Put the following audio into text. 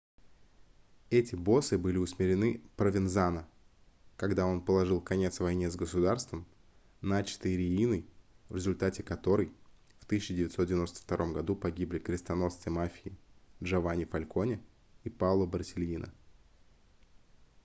эти боссы были усмирены провензано когда он положил конец войне с государством начатой рииной в результате которой в 1992 году погибли крестоносцы мафии джованни фальконе и паоло борсельино